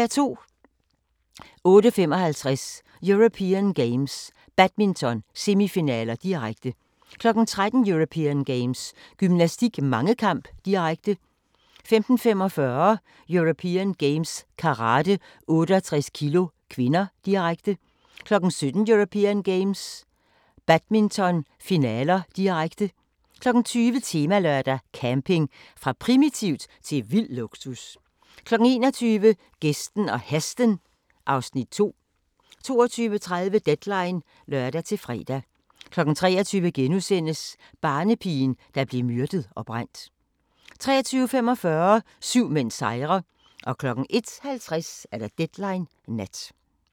08:55: European Games - badminton, semifinaler, direkte 13:00: European Games - gymnastik, mangekamp, direkte 15:45: European Games - karate, 68 kg (k), direkte 17:00: European Games - badminton, finaler, direkte 20:00: Temalørdag: Camping – fra primitivt til vild luksus 21:00: Gæsten og Hesten (Afs. 2) 22:30: Deadline (lør-fre) 23:00: Barnepigen, der blev myrdet og brændt * 23:45: Syv mænd sejrer 01:50: Deadline Nat